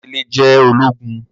Bàbá Délé jẹ ologun